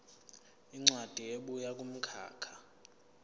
incwadi ebuya kumkhakha